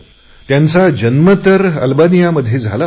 त्यांचा जन्म तर अल्बानी यामध्ये झाला होता